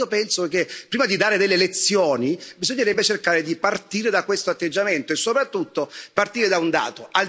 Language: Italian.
Allora io penso che, prima di dare delle lezioni, bisognerebbe cercare di partire da questo atteggiamento e soprattutto partire da un dato.